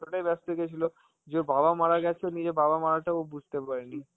তাই ব্যস্ত হয়ে গেছিল যে ওর বাবা মারা গেছে, ও নিজের বাবা মারাটা ও বুঝতে পারেনি.